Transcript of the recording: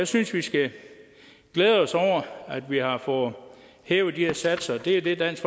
synes vi skal glæde os over at vi har fået hævet de her satser det er det dansk